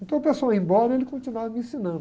Então o pessoal ia embora e ele continuava me ensinando.